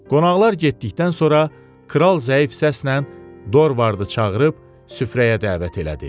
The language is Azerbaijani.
Qonaqlar getdikdən sonra kral zəif səslə Dorvardı çağırıb süfrəyə dəvət elədi.